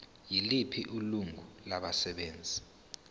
yiliphi ilungu labasebenzi